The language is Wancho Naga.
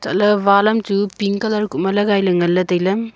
ley wall am chu pink colour ku ma lagailey nganley tailey.